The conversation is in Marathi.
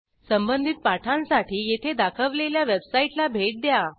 संबंधित पाठांसाठी येथे दाखवलेल्या वेबसाईटला भेट द्या